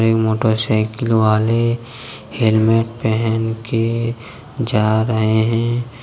एक motorcycle वाले helmet पहन के जा रहे हैं।